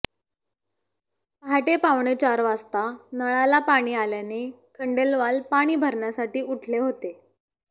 पहाटे पावणेचार वाजता नळाला पाणी आल्याने खंडेलवाल पाणी भरण्यासाठी उठले होते